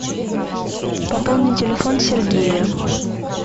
пополни телефон сергея